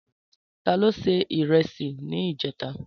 Tàló sé irèsí nijètá?